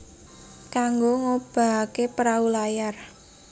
Kanggo ngobahaké perahu layar